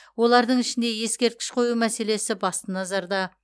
олардың ішінде ескерткіш қою мәселесі басты назарда